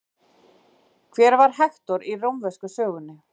Hver var Hektor í rómversku sögunni?